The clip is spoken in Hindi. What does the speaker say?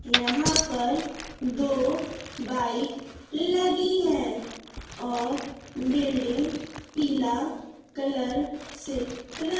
यहां पर दो बाइक लगी है और बिल्डिंग पीला कलर से र--